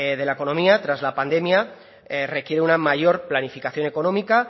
de la economía tras la pandemia requiere una mayor planificación económica